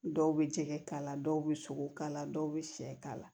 Dɔw bɛ jɛgɛ kala dɔw bɛ sogo kala dɔw bɛ sɛ k'a la